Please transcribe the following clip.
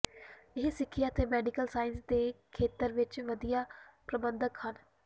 ਇਹ ਸਿੱਖਿਆ ਤੇ ਮੈਡੀਕਲ ਸਾਇੰਸਜ਼ ਦੇ ਖੇਤਰ ਵਿੱਚ ਵਧੀਆ ਪ੍ਰਬੰਧਕ ਹਨ